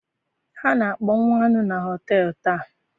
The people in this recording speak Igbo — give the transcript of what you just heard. Ha na-akpọnwụ anụ na họtel taa.